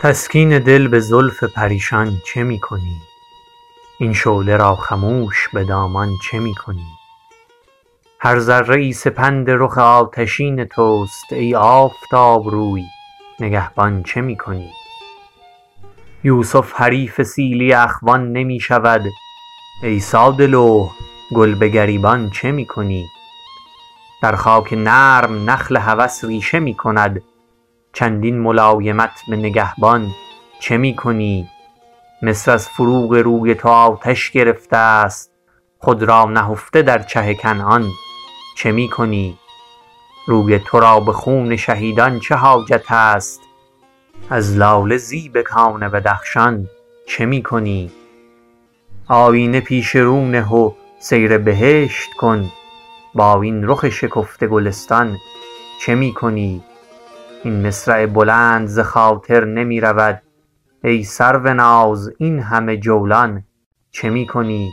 تسکین دل به زلف پریشان چه می کنی این شعله را خموش به دامان چه می کنی هر ذره ای سپند رخ آتشین توست ای آفتاب روی نگهبان چه می کنی یوسف حریف سیلی اخوان نمی شود ای ساده لوح گل به گریبان چه می کنی در خاک نرم نخل هوس ریشه می کند چندین ملایمت به نگهبان چه می کنی مصر از فروغ روی تو آتش گرفته است خود را نهفته در چه کنعان چه می کنی روی ترا به خون شهیدان چه حاجت است از لاله زیب کان بدخشان چه می کنی آیینه پیش رو نه و سیر بهشت کن با این رخ شکفته گلستان چه می کنی این مصرع بلند ز خاطر نمی رود ای سروناز این همه جولان چه می کنی